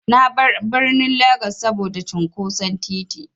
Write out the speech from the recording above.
Na bar birnin Legas saboda cunƙoson titi.